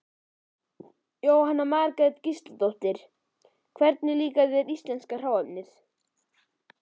Jóhanna Margrét Gísladóttir: Hvernig líkar þér íslenska hráefnið?